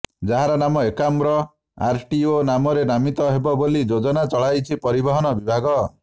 ଯାହାର ନାମ ଏକାମ୍ର ଆରଟିଓ ନାମରେ ନାମିତ ହେବ ବୋଲି ଯୋଜନା ଚଳାଇଛି ପରିବହନ ବିଭାଗ